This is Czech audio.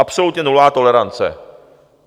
Absolutně nulová tolerance.